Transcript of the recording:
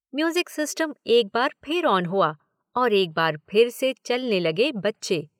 Music system एक बार फिर ऑन हुआ और एक बार फिर से चलने लगे बच्चे।